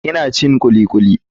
Ina cin kulikuli.